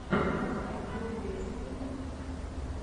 поставь голубец на ютубе